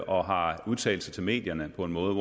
og har udtalt sig til medierne på en måde